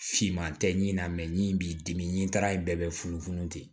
Finman tɛ ɲi na min b'i dimi n'a ye bɛɛ bɛ funu funu ten